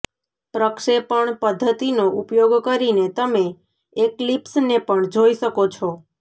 પ્રક્ષેપણ પદ્ધતિનો ઉપયોગ કરીને તમે એક્લીપ્સને પણ જોઈ શકો છો